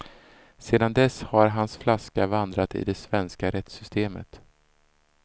Sedan dess har hans flaska vandrat i det svenska rättssystemet.